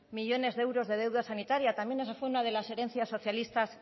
millónes de euros de deuda sanitaria también esa fue una de las herencias socialistas